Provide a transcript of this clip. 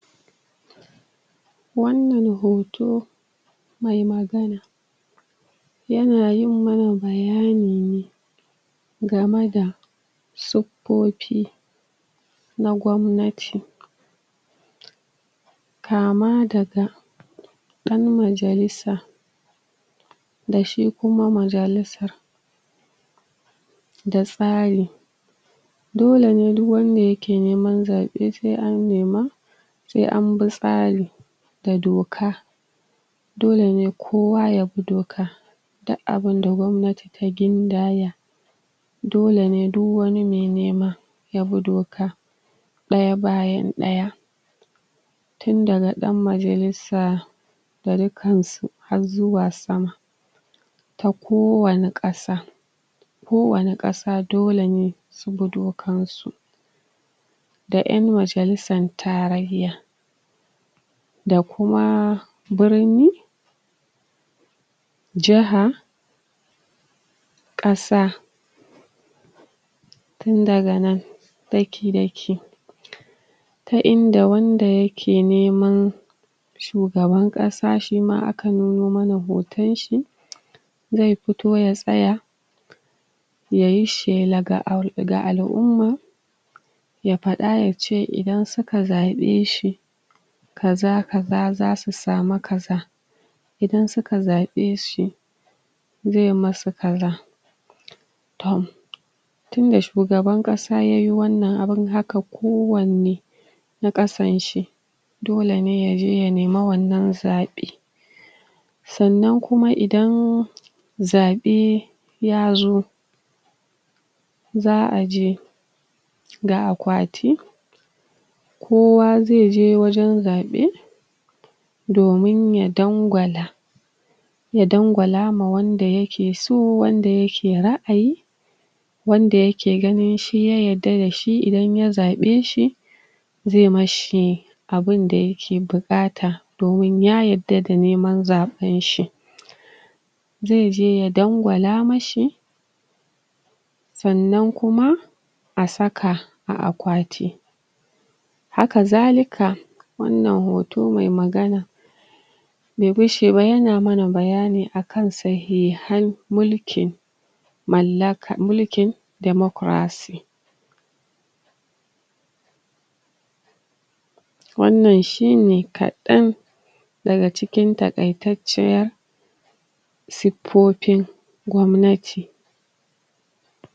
Wannan hoto mai magana yana yi mana bayani ne gamada suffofi na gwamnati kama daga ɗan majalisa da shi kuma majalisa da tsari dole ne duk wanda yake niman zaɓe, sai an nema sai an bi tsari da doka dole ne kowa ya bi doka da abinda gwamnati ta gindaya dole ne duk wani mai nima ya bi doka ɗaya bayan ɗaya tun daga ɗan majallisa da dukkansu har zuwa sama ta kowani ƙasa kowani ƙasa dole ne su bi dokan su da ƴan majallisan tarayya da kuma birni jaha ƙasa tun daganan daki-daki ta inda wanda yake neman shugaban ƙasa shima akan nuno mana hotan shi zai fito ya tsaya yayi shela ga al'umma ya faɗa yace idan suka zaɓe shi kazza -kazza, zasu samu kazza idan suka zaɓe shi zai musu kazza tohm tunda shugaban ƙasa yayi wannan abun haka kowanne na ƙassan shi dole ne yaje ya nima wannan zaɓe sannan kuma idan zaɓe ya zo za'a je da akwati kowa zai je wajan zaɓe domin ya dangwala ya dangwala ma wanda yake so wanda yake ra'ayi wanda yake gani shi ya yarda da shi idan ya zaɓe shi zai mishi abun da yake buƙata domin ya yarda da niman zaɓen shi zaije ya dangwala mishi sannan kuma a saka a akwati haka zalika wannan hoto mai magana yana mana bayani akan sahihan mulki mallaka, mulkin democracy [damocraɗiyya] wannan shine kaɗan daga cikin takaitacciyar suffofin gwamnati.